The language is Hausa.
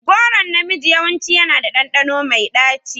Goron na miji yawanci yana da ɗanɗano mai ɗaci.